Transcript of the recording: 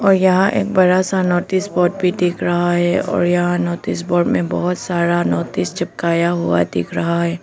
और यहां एक बड़ा सा नोटिस बोर्ड भी दिख रहा है और यहां नोटिस बोर्ड में बहुत सारा नोटिस चिपकाया हुआ दिख रहा है।